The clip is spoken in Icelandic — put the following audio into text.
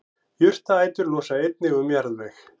jurtaætur losa einnig um jarðveg